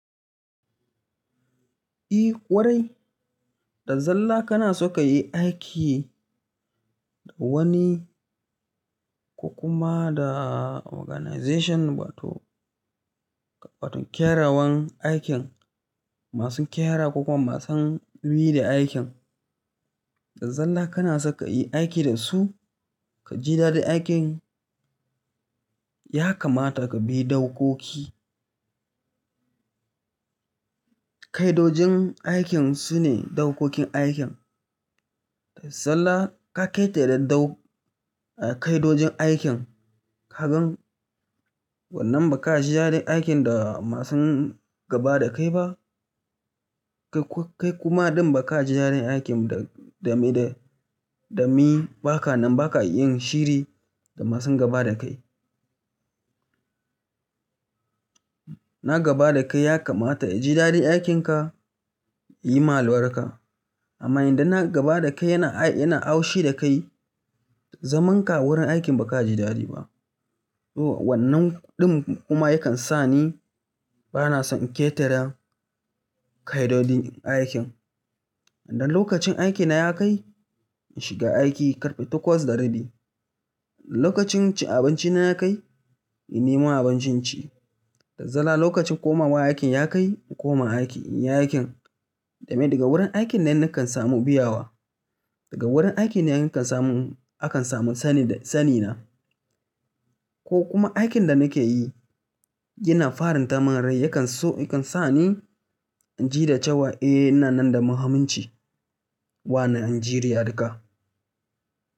Eh kwarai, da zallah kana so kayi aiki da wani ko kuma da organization wato, wato kyrawan aikin masu kyara ko kuma masu bi da aikin. Da zallah kana saka yi aiki da su ka ji daɗin aikin ya kamata ka bi daukoki. Kaidojin aikin sune daukokin aikin. Da zallah ka ƙetare dau, kaidojin aikin ka gan wannan ba ka ji daɗin aikin da masu gaba da kai ba. Kai kuma ɗin ba ka ji daɗin aikin da, da me da, damin ba ka nan ba ka yin shiri da masu gaba da kai. Na gaba da kai ya kamata ya ji daɗin aikinka, ya yi ma albarka. Amma idan na gaba da kai yana, yana haushi da kai, zaman ka wurin aikin ba ka ji daɗi ba. Wannan ɗin kuma yakan sa ni ba na son in ƙetare kaidojin aikin. Idan lokacin aikina ya kai, in shiga aiki karfe takwas da rabi. Lokacin cinabincina ya kai, in nemo abincin ci. Da zallah lokacin komawa aikin ya kai, in koma aiki, in yi aikin. Da me daga wurin aikin nan nakan samu biyawa. Daga wurin aikin ne kan samu, akan samu sani da sani na. Ko kuma aikin da nake yi yana farin ta mun rai yakan so, yakan sa ni jita cewa eh ina nan da muhimmin ci wa na Najeriya duka.